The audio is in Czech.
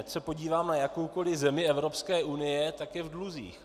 Ať se podíváme na jakoukoliv zemi Evropské unie, tak je v dluzích.